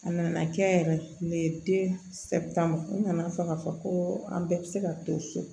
A nana kɛ yɛrɛ de den sɛ tan ma n nana fɔ k'a fɔ ko an bɛɛ be se ka to so